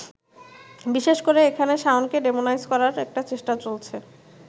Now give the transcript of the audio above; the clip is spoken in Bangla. বিশেষ করে এখানে শাওনকে ডেমোনাইজ করার একটা চেষ্টা চলছে।